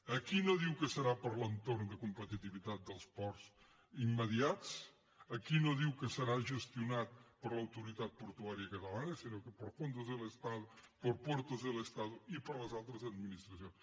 aquí no diu que serà per a l’entorn de competitivitat dels ports immediats aquí no diu que serà gestionat per l’autoritat portuària catalana sinó por puertos del estado i per les altres administracions